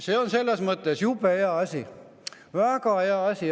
See on selles mõttes jube hea asi, väga hea asi!